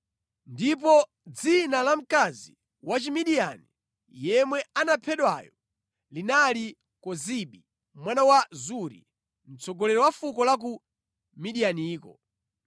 Ndipo dzina la mkazi wa Chimidiyani, yemwe anaphedwayo, linali Kozibi mwana wa Zuri, mtsogoleri wa fuko la ku Midiyaniko.